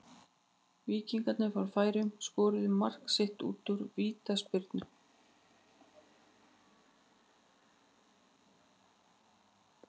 Víkingarnir frá Færeyjum skoruðu mark sitt úr vítaspyrnu.